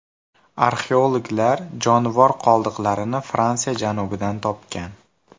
Arxeologlar jonivor qoldiqlarini Fransiya janubidan topgan.